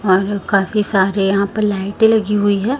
बाहर काफी सारे यहां पर लाइटे लगी हुई है।